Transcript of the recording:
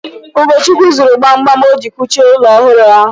Ugochukwu zụrụ gbam gbam o ji a kuchi ụlọ ọhụrụ ahụ.